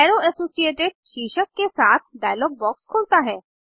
अरो associated शीर्षक के साथ डायलॉग बॉक्स खुलता है